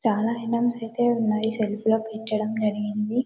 చాలా ఐటమ్స్ అయితే ఉన్నాయి సెల్ఫ్ లో పెట్టడం జరిగింది .